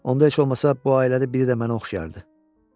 Onda heç olmasa bu ailədə biri də mənə oxşayardı.